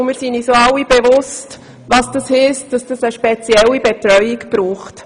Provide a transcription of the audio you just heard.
Wir sind uns auch alle bewusst, was dies bedeutet, und wissen, dass diese Kinder eine spezielle Betreuung brauchen.